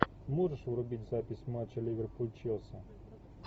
можешь врубить запись матча ливерпуль челси